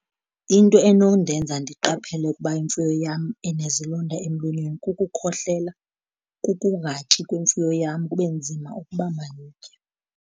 Into enondenza ndiqaphele ukuba imfuyo yam inezilonda emlonyeni kukukhohlela, kukungatyi kwimfuyo yam, kube nzima ukuba mayitye.